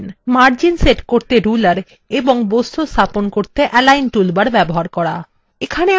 margins set করার জন্য ruler এবং বস্তুগুলি স্থাপন করতে align বা বিন্যাস toolbar ব্যবহার করা